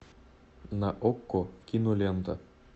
на окко кинолента